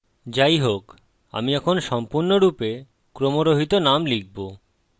যাইহোক আমি এখন সম্পূর্ণরূপে ক্রমরহিত নাম লিখব